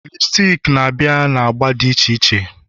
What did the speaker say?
lipsticks na-abịa na agba dị iche iche